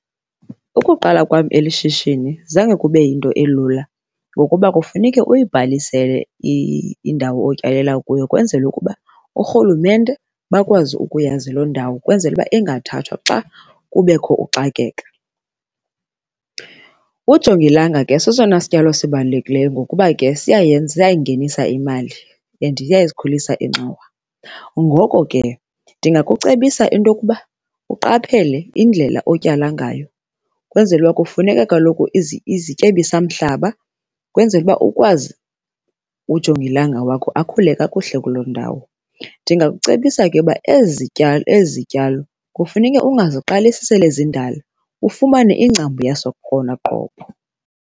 Ukuqala kwam eli shishini zange kube yinto elula ngokuba kufuneke uyibhalisele indawo otyalela kuyo kwenzela ukuba urhulumente bakwazi ukuyazi loo ndawo kwenzela uba ingathathwa xa kubekho uxakeka. Ujongilanga ke sesona sityalo sibalulekileyo ngokuba ke siyayenza, siyayingenisa imali and iyazikhulisa ingxowa. Ngoko ke ndingakucebisa into yokuba uqaphele indlela otyala ngayo, kwenzele uba kufuneka kaloku izityebisamhlaba, kwenzele uba ukwazi, ujongilanga wakho akhule kakuhle kuloo ndawo. Ndingakucebisa ke uba ezi zityalo ezi zityalo kufuneke ungaziqalisi sele zindala, ufumane ingcambu yaso .